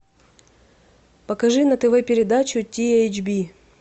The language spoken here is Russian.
покажи на тв передачу ти эйч би